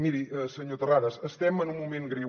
miri senyor terrades estem en un moment greu